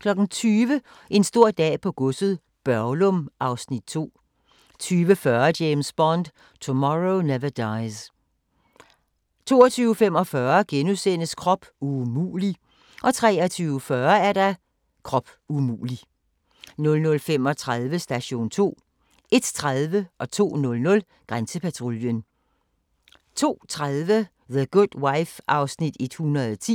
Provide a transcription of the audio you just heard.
20:00: En stor dag på godset - Børglum (Afs. 2) 20:40: James Bond: Tomorrow Never Dies 22:45: Krop umulig * 23:40: Krop umulig 00:35: Station 2 01:30: Grænsepatruljen 02:00: Grænsepatruljen 02:30: The Good Wife (110:156)